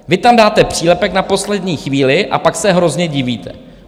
Vy tam dáte přílepek na poslední chvíli a pak se hrozně divíte.